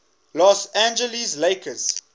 los angeles lakers